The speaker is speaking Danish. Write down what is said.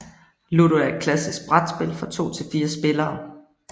Ludo er et klassisk brætspil for to til fire spillere